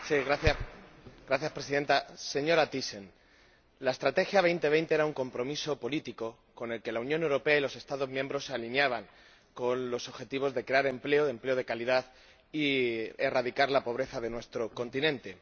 Señora Presidenta, señora Thyssen, la Estrategia Europa 2020 era un compromiso político con el que la Unión Europea y los Estados miembros se alineaban con los objetivos de crear empleo, empleo de calidad, y erradicar la pobreza de nuestro continente.